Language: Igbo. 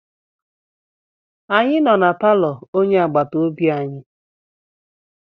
Anyị nọ na palọ onye agbataobi anyị.